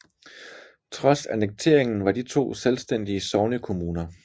Trods annekteringen var de to selvstændige sognekommuner